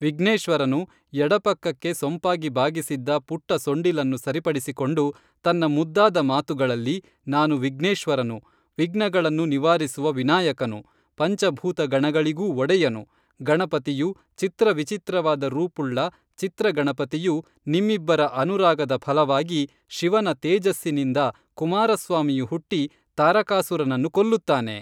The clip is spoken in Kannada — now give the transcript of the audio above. ವಿಘ್ನೇಶ್ವರನು ಎಡಪಕ್ಕಕ್ಕೆ ಸೊಂಪಾಗಿ ಬಾಗಿಸಿದ್ದ ಪುಟ್ಟ ಸೊಂಡಿಲನ್ನು ಸರಿಪಡಿಸಿಕೊಂಡು ತನ್ನ ಮುದ್ದಾದ ಮಾತುಗಳಲ್ಲಿ ನಾನು ವಿಘ್ನೇಶ್ವರನು ವಿಘ್ನಗಳನ್ನು ನಿವಾರಿಸುವ ವಿನಾಯಕನು, ಪಂಚಭೂತಗಣಗಳಿಗೂ ಒಡೆಯನು, ಗಣಪತಿಯು ಚಿತ್ರ ವಿಚಿತ್ರವಾದ ರೂಪುಳ್ಳ ಚಿತ್ರಗಣಪತಿಯು ನಿಮ್ಮಿಬ್ಬರ ಅನುರಾಗದ ಫಲವಾಗಿ ಶಿವನ ತೇಜಸ್ಸಿನಿಂದ ಕುಮಾರ ಸ್ವಾಮಿಯು ಹುಟ್ಟಿ ತಾರಕಾಸುರನನ್ನು ಕೊಲ್ಲುತ್ತಾನೆ